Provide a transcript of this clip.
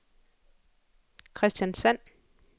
Kristiansand